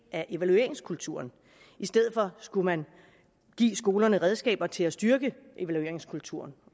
af evalueringskulturen i stedet for skulle man give skolerne redskaber til at styrke evalueringskulturen